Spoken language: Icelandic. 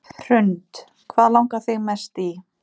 Hrund: Hvað langar þig mest í?